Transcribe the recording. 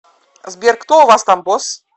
сбер кто у вас там босс